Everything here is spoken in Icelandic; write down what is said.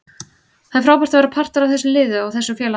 Það er frábært að vera partur af þessu liði og þessu félagi.